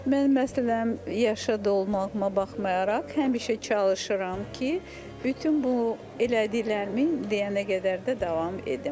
Mən məsələn, yaşı dolmağıma baxmayaraq, həmişə çalışıram ki, bütün bu elədiklərimi deyənə qədər də davam edim.